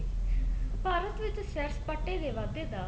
ਭਾਰਤ ਵਿੱਚ ਸੈਰ ਸਪਾਟੇ ਦੇ ਵਾਧੇ ਦਾ